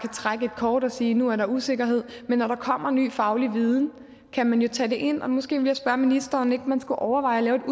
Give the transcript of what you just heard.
trække et kort og sige nu er der usikkerhed men når der kommer ny faglig viden kan man jo tage det ind og måske vil jeg spørge ministeren om ikke man skulle overveje at lave